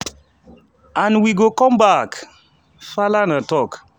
and we go come back" falana tok.